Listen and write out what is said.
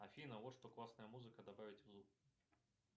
афина вот что классная музыка добавить в зум